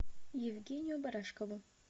евгению барашкову